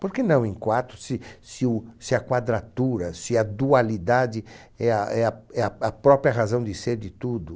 Por que não em quarto, se se o se a quadratura, se a dualidade é a é a é a a própria razão de ser de tudo?